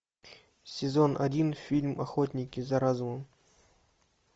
сезон один фильм охотники за разумом